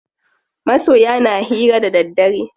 Masoya na hira da daddare.